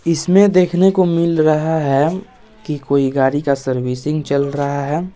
इसमें देखने को मिल रहा है की कोई गाड़ी का सर्विसिंग चल रहा है।